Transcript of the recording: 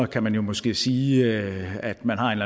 kan man jo måske sige at man har en